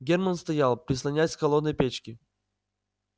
германн стоял прислонясь к холодной печке